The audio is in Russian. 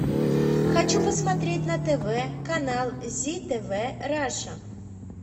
хочу посмотреть на тв канал зи тв раша